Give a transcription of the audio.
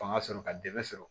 Fanga sɔrɔ ka dɛmɛ sɔrɔ